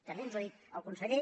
també ens ho ha dit el conseller